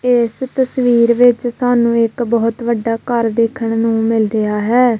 ਏਸ ਤਸਵੀਰ ਵਿੱਚ ਸਾਨੂੰ ਇੱਕ ਬੋਹੁਤ ਵੱਡਾ ਘੱਰ ਦੇਖਣ ਨੂੰ ਮਿਲ ਰਿਹਾ ਹੈ।